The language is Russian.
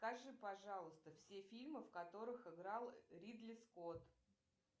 скажи пожалуйста все фильмы в которых играл ридли скотт